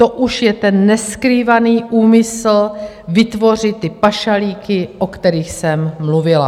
To už je ten neskrývaný úmysl vytvořit ty pašalíky, o kterých jsem mluvila.